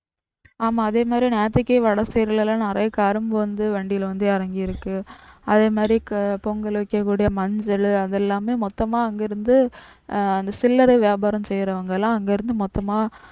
ஆமா அதே மாதிரி நேத்துக்கே வடக்கு side லாம் நிறைய கரும்பு வந்து வண்டில வந்து இறங்கியிருக்கு. அதே மாதிரி பொங்கல் வைக்கக்கூடிய மஞ்சள் அது எல்லாமே மொத்தமா அங்க இருந்து ஆஹ் சில்லரை வியாரம் செய்றவங்கெல்லாம் அங்க இருந்து மொத்தமா